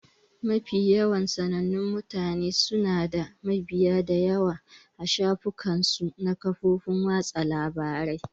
Mafi yawan sanannun mutane suna da mabiya da yawa a shafukan su na kafofin watsa labarai